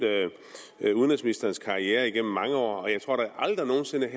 udenrigsministerens karriere igennem mange år og jeg tror da aldrig nogen sinde